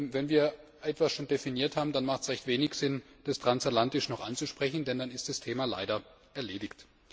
Wenn wir etwas schon definiert haben, dann hat es recht wenig Sinn, das transatlantisch noch anzusprechen, denn dann ist das Thema leider erledigt.